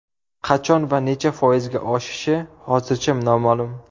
Qachon va necha foizga oshishi hozircha noma’lum.